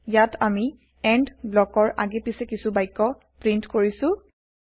ইয়াত আমি এণ্ড ব্লকছৰ আগে পাছে কিছু বাক্য প্ৰীন্ট কৰিছো